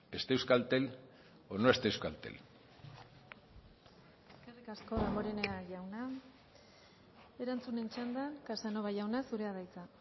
esté euskaltel o no esté euskaltel eskerrik asko damborenea jauna erantzunen txanda casanova jauna zurea da hitza